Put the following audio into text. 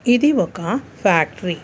ఇది ఒక ఫ్యాక్టరీ .